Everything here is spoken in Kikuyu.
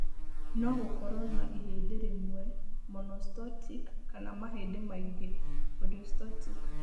No gũkorũo na ihĩndĩ rĩmwe (monostotic) kana mahĩndĩ maingĩ (polyostotic).